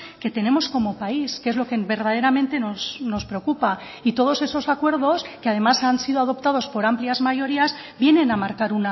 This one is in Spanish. que tenemos como país que es lo que verdaderamente nos preocupa y todos esos acuerdos que además han sido adoptados por amplias mayorías vienen a marcar